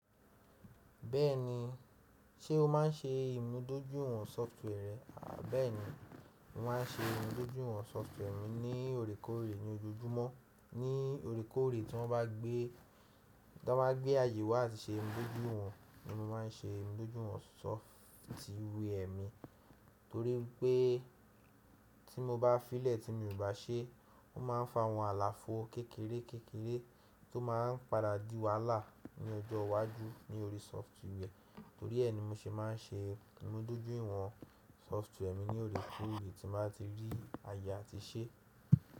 Bẹ́ẹ̀ni, ṣé o máa ń ṣe ìmúdójú ìwọ̀n software rẹ? Bẹ́ẹ̀ni, mo má ń ṣe ìmúdójúìwọ̀n software mi ní òrèkóòrè ní ojoojúmọ́. Ní òrèkórè tí wọ́n bá gbé, tán bá gbé àyè wá àti ṣe ìmúdójúìwọ̀n ni mo má ń ṣe ìmúdójúìwọ̀n sọftware mi, torí wípé, tí mo bá fiilẹ̀ tí mi ò bá ṣe, ó má ń fa àwọn àlàfo kékeré kékeré tí ó má ń padà di wàhálà ní ọjọ́ iwájú ní orí sọftware. Torí ẹ ni mo ṣe má ń ṣe ìmúdójúìwọ̀n sọftware mi ní òrèkóòrè tí n bá ti rí àyè a ti ṣe.